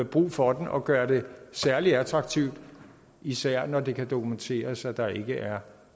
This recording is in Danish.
brug for den og gøre det særlig attraktivt især når det kan dokumenteres at der ikke er